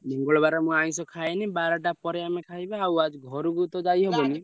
ମଙ୍ଗଳବାରେ ମୁଁ ଆଇଂଷ ଖାଏନି ବାରଟା ପରେ ଆମେ ଖାଇବା ଆଉ ଆଜି ଘରୁକୁ ତ ଯାଇହବନି।